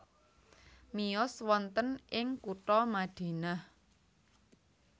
Miyos wonten ing kutha Madinah